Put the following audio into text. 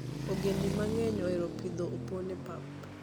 Ogendini mang'eny ohero pidho opon e pap.